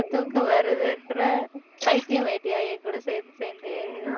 தூக்கம் வருதுன்ற பைத்தியமாயிட்டியா என் கூட சேர்ந்து சேர்ந்து